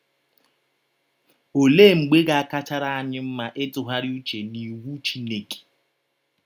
Ọlee mgbe ga - akachara anyị mma ịtụgharị ụche n’iwụ Chineke?